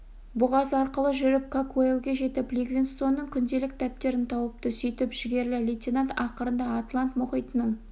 бұғаз арқылы жүріп какуэлге жетіп ливингстонның күнделік дәптерін тауыпты сөйтіп жігерлі лейтенант ақырында атлант мұхитының